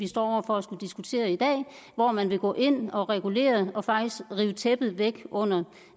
står over for at skulle diskutere i dag og hvor man vil gå ind og regulere og faktisk rive tæppet væk under